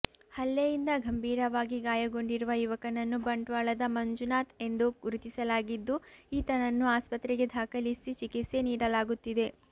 ಹಲ್ಲೆಯಿಂದ ಗಂಭೀರವಾಗಿ ಗಾಯಗೊಂಡಿರುವ ಯುವಕನನ್ನು ಬಂಟ್ವಾಳದ ಮಂಜುನಾಥ್ ಎಂದು ಗುರುತಿಸಲಾಗಿದ್ದು ಈತನನ್ನು ಆಸ್ಪತ್ರೆಗೆ ದಾಖಲಿಸಿ ಚಿಕಿತ್ಸೆ ನೀಡಲಾಗುತ್ತಿದೆ